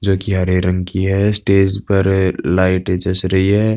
जोकि हरे रंग की है। स्टेज पर लाइट जच रही है।